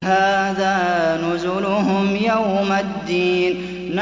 هَٰذَا نُزُلُهُمْ يَوْمَ الدِّينِ